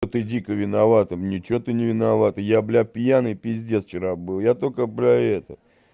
ты дико виновата ни чего ты не виновата я бля пьяный пиздец вчера был я только бля это